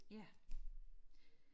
ja